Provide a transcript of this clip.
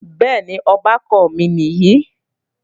Bẹ́ẹ̀ni, ọbàkan mi nìyí